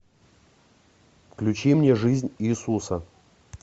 включи мне жизнь иисуса